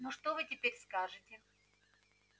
ну что вы теперь скажете